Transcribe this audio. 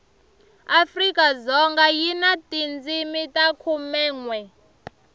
afrikadzoga yi na tindzimi ta khumenwe